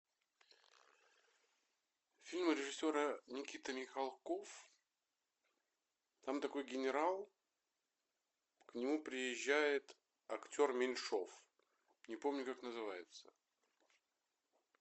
фильм режиссера никита михалков там такой генерал к нему приезжает актер меньшов не помню как называется